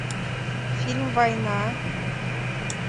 фильм война